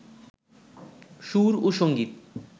সুর ও সঙ্গীত